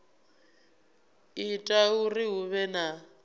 ita uri hu vhe na